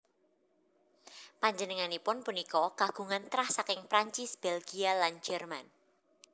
Panjenenganipun punika kagungan trah saking Prancis Bèlgia lan Jerman